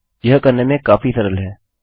यह करने में काफी सरल है